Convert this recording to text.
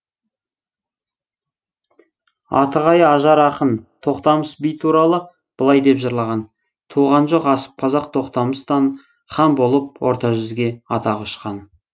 атығай ажар ақын тоқтамыс би туралы былай деп жырлаған туған жоқ асып қазақ тоқтамыстан хан болып орта жүзге атағы ұшқан